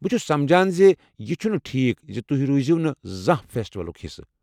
بہٕ چھُس سمجھان زِ یہِ چھُنہٕ ٹھیٖکھ زِ تُہۍ روٗزیونہٕ زانہہ فیسٹولُك حِصہٕ ۔